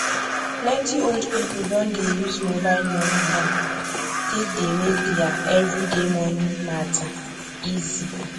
plenty old people don dey use mobile money now take dey make their everyday money matter easy